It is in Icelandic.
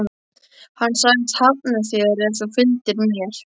Hann sagðist hafna þér ef þú fylgdir mér.